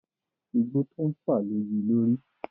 Igbó tó ń fà lo yi lórí.